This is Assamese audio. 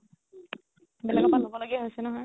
বেলেগৰ পৰা লব লগিয়া হৈছে নহয়